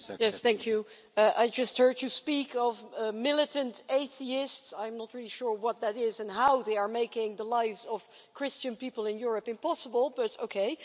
Colleague, I just heard you speak of militant atheists, I'm not really sure what that is and how they are making the lives of Christian people in Europe impossible, but okay.